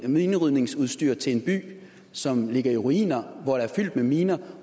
minerydningsudstyr til en by som ligger i ruiner og er fyldt med miner